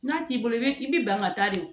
N'a t'i bolo i bɛ i bɛ ban ka taa de